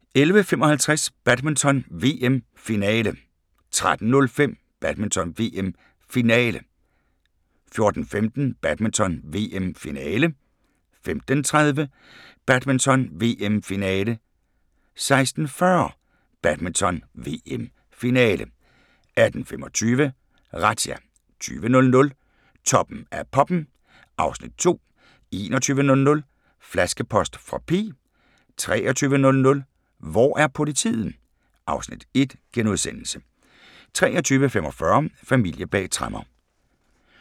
11:55: Badminton: VM - finale 13:05: Badminton: VM - finale 14:15: Badminton: VM - finale 15:30: Badminton: VM - finale 16:40: Badminton: VM - finale 18:25: Razzia 20:00: Toppen af poppen (Afs. 2) 21:00: Flaskepost fra P 23:00: Hvor er politiet? (Afs. 1)* 23:45: Familier bag tremmer